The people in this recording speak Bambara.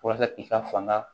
Walasa i ka fanga